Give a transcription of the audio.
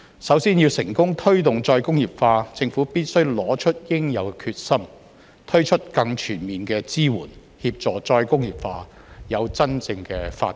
首先，要成功推動再工業化，政府必須拿出應有的決心，推出更全面的支援，協助再工業化有真正的發展。